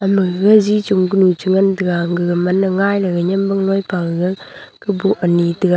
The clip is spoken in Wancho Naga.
ama gaji chong kunu cha ngan taiga gaga man me ngai legai nimwang pa gaga ku boh anyi taga.